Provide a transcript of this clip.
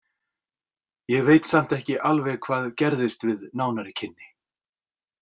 Ég veit samt ekki alveg hvað gerðist við nánari kynni.